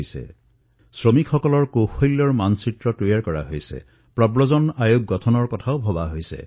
যিদৰে বহু শ্ৰমিকৰ স্কিল মেপিঙৰ কাম কৰা হৈছে বহু ষ্টাৰ্টআপ এই কামৰ সৈতে জড়িত হৈ পৰিছে বহু ঠাইত প্ৰব্ৰজক আয়োগ গঠন কৰাৰ কথা উত্থাপিত হৈছে